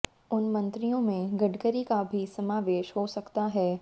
उन मंत्रियों में गडकरी का भी समावेश हो सकता है